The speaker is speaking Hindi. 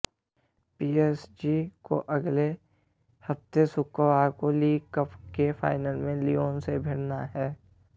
पीएसजी को अगले हफ्ते शुक्रवार को लीग कप के फाइनल में लियोन से भिड़ना है